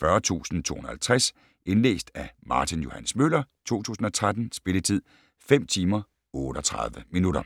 40250 Indlæst af Martin Johs. Møller, 2013. Spilletid: 5 timer, 38 minutter.